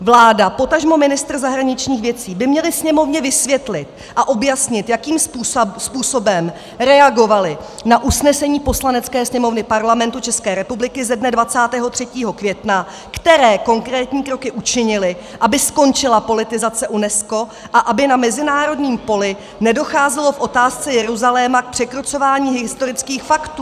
Vláda, potažmo ministr zahraničních věcí by měli Sněmovně vysvětlit a objasnit, jakým způsobem reagovali na usnesení Poslanecké sněmovny Parlamentu České republiky ze dne 23. května, které konkrétní kroky učinili, aby skončila politizace UNESCO a aby na mezinárodním poli nedocházelo v otázce Jeruzaléma k překrucování historických faktů.